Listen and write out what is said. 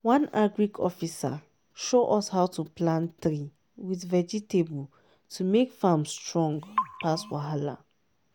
one agric officer show us how to plant tree with vegetable to make farm strong pass wahala.